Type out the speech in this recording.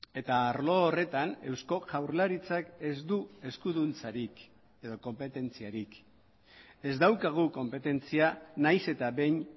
eta arlo horretan eusko jaurlaritzak ez du eskuduntzarik edo konpetentziarik ez daukagu konpetentzia nahiz eta behin